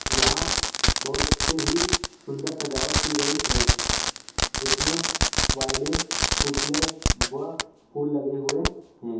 यहा बहुत ही सुंदर सजावट की गई है जिस मे वाइलिट पुतले व फूल लगे हुए है।